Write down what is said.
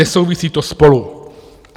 Nesouvisí to spolu.